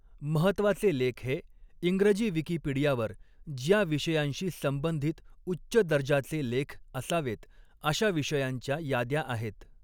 महत्त्वाचे लेख हे, इंग्रजी विकिपीडियावर ज्या विषयांशी संबंधित उच्च दर्जाचे लेख असावेत, अशा विषयांच्या याद्या आहेत.